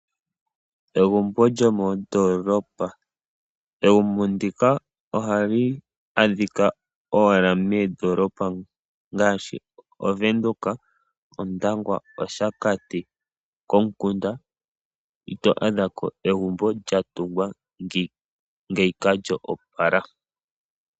Egumbo lyo mondoolopa Egumbo ndika ohali adhika owala meendoolopa ngaashi; Ovenduka, Ondangwa, Oshakati. Komukunda ito a dhako egumbo lya tungwa ngeika lyo opala.